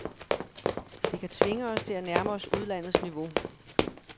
Det kan tvinge os til at nærme os udlandets niveau.